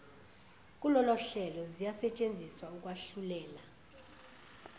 kulolohlelo ziyasetshenziswa ukwahluleka